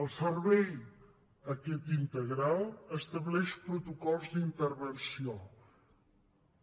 el servei aquest integral estableix protocols d’intervenció